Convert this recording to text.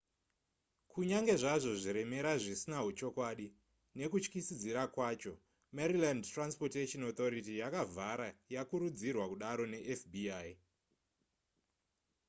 kunyange zvazvo zviremera zvisina huchokwadi nekutyisidzira kwacho maryland transportation authority yakavhara yakurudzirwa kudaro nefbi